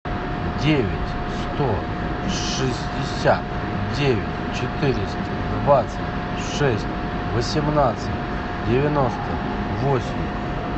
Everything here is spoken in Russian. девять сто шестьдесят девять четыреста двадцать шесть восемнадцать девяносто восемь